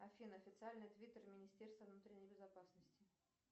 афина официальный твиттер министерства внутренней безопасности